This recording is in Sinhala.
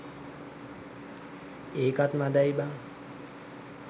ඒකත් මදැයි බං.